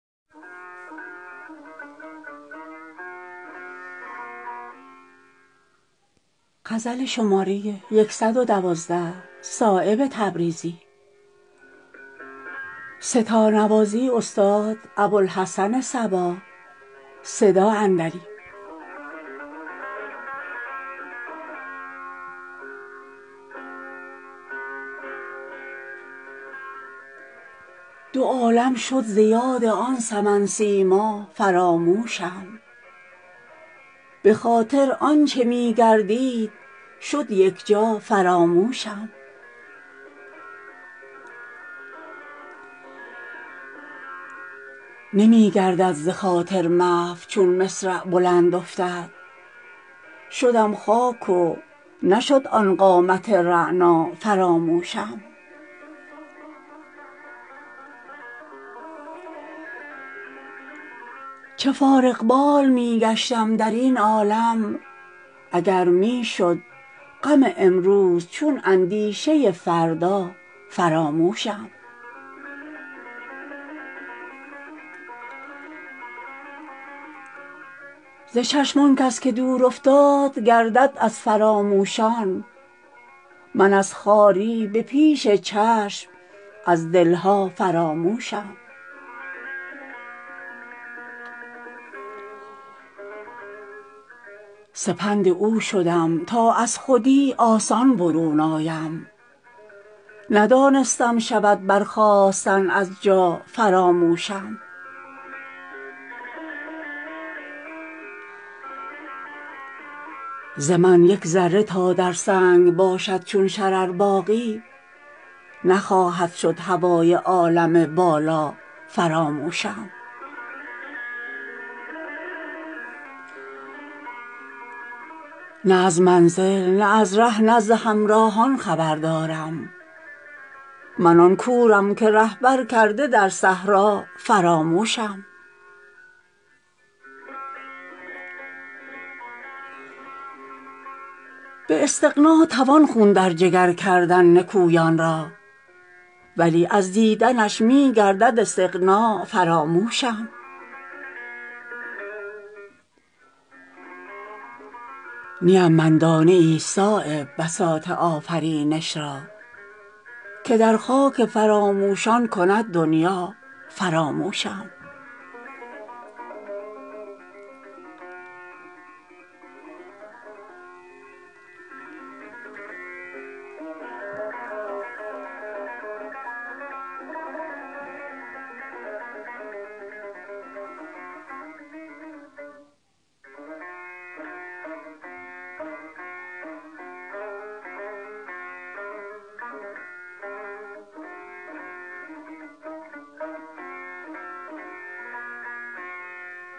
دو عالم شد ز یاد آن سمن سیما فراموشم به خاطر آنچه می گردید شد یکجا فراموشم نمی گردد ز خاطر محو چون مصرع بلند افتد شدم خاک و نشد آن قامت رعنا فراموشم چه فارغ بال می گشتم درین عالم اگر می شد غم امروز چون اندیشه فردا فراموشم ز چشم آن کس که دور افتاد گردد از فراموشان من از خواری به پیش چشم از دلها فراموشم سپند او شدم تا از خودی آسان برون آیم ندانستم شود برخاستن از جا فراموشم چو گوهر گرچه در مهد صدف عمری است در خوابم نشد زین خواب سنگین رغبت دریا فراموشم ز من یک ذره تا در سنگ باشد چون شرر باقی نخواهد شد هوای عالم بالا فراموشم نه از منزل نه از ره نه ز همراهان خبر دارم من آن کورم که رهبر کرده در صحرا فراموشم به یاد من که پیش آن فرامشکار می افتد که با صد رشته کرد آن زلف بی پروا فراموشم به استغنا توان خون در جگر کردن نکویان را ولی از دیدنش می گردد استغنا فراموشم مرا این سرفرازی در میان دور گردان بس که کرد آن سنگدل از دوستان تنها فراموشم به اشکی می توان شستن ز خاکم دعوی خون را پس از کشتن مکن ای شمع بی پروا فراموشم نیم من دانه ای صایب بساط آفرینش را که در خاک فراموشان کند دنیا فراموشم